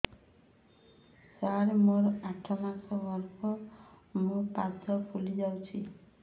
ସାର ମୋର ଆଠ ମାସ ଗର୍ଭ ମୋ ପାଦ ଫୁଲିଯାଉଛି